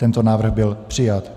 Tento návrh byl přijat.